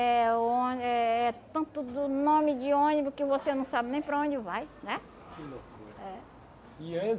É oni é é tanto do nome de ônibus que você não sabe nem para onde vai, né?